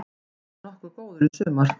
Mér fannst ég nokkuð góður í sumar.